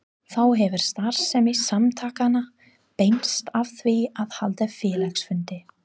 Þá hefur starfsemi samtakanna beinst að því að halda félagsfundi.